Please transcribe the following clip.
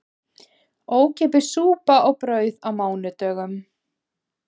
Ókeypis súpa og brauð á mánudögum